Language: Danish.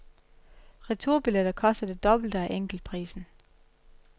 Returbilletter koster det dobbelt af enkeltprisen.